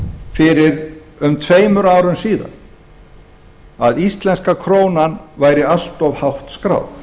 fyrir um tveimur árum síðan að íslenska krónan væri allt of hátt skráð